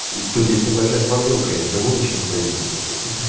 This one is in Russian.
тут есть небольшая проблемка я никому ничего не повинен блять